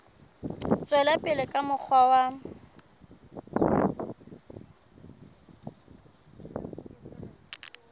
tswela pele ka mokgwa wa